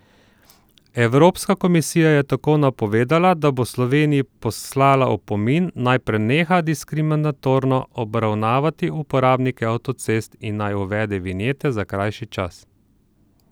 Evropska komisija je tako napovedala, da bo Sloveniji poslala opomin, naj preneha diskriminatorno obravnavati uporabnike avtocest in naj uvede vinjete za krajši čas.